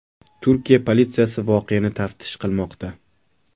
Turkiya politsiyasi voqeani taftish qilmoqda.